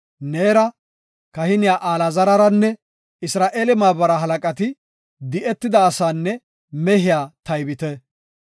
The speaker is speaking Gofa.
“Neera, kahiniya Alaazararanne Isra7eele maabara halaqati di7etida asaanne mehiya taybite.